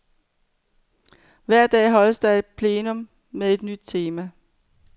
Hver dag holdes der et plenum med et nyt tema.